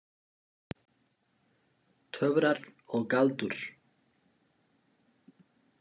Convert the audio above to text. Töfrar og galdur.